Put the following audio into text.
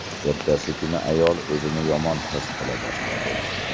Ertasi kuni ayol o‘zini yomon his qila boshladi.